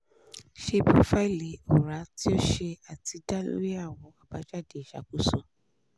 ṣe profaili ọra ti o ṣe ati da lori awọn abajade iṣakoso